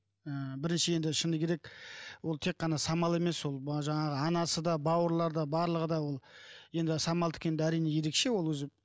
ы бірінші енді шыны керек ол тек қана самал емес ол жаңағы анасы да бауырлары да барлығы да ол енді самалдікі енді әрине ерекше ол өзі